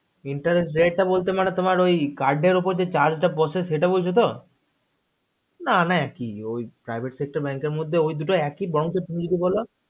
interest দেয়তা বলতে মানে তোমার ওই card এর উপর যে charge পড়েছে সেটা বলছো তো না না একি ওই private sector bank ওই দুটো মধ্যে একই বরংচ তুমি যা বলছো